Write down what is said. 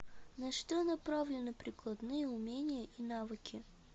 на что направлены прикладные умения и навыки